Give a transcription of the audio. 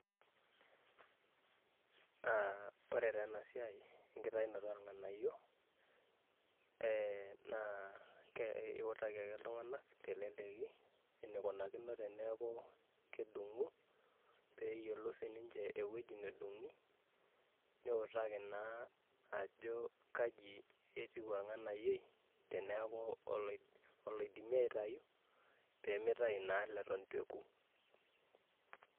Aah ore taa ena siai naa ekitainoto orng'anayio ee naa ke iutaki ake iltung'ana teleleki enikunakino teneaku kedung'u pee eyiolou si ninche wueji nedung'i, niutaki naa ajo kaji etiu orng'ayioi teneaku oloidm oloidimi aitayu pee mitau naa leton itu eku.